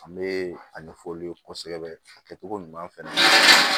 An bɛ a ɲɛfɔ olu ye kosɛbɛ a kɛcogo ɲuman fana na